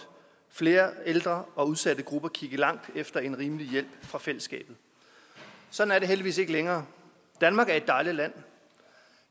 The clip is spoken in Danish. flere ældre og udsatte grupper kigge langt efter en rimelig hjælp fra fællesskabet sådan er det heldigvis ikke længere danmark er et dejligt land